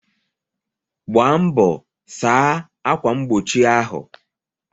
Gbaa mbọ saa akwa mgbochi ahụ!